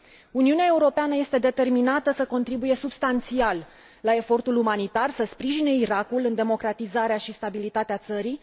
Uniunea Europeană este determinată să contribuie substanțial la efortul umanitar, să sprijine Irakul în democratizarea și stabilizarea țării